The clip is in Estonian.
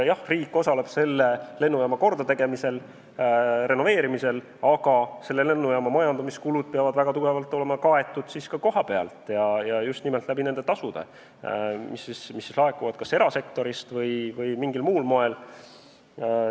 Jah, riik osaleb selle lennujaama kordategemisel, renoveerimisel, aga lennujaama majandamiskulud peavad väga tugevalt olema kaetud ka kohapealt, ja just nimel nendest tasudest, mis siis laekuvad kas erasektorist või mingil muul moel.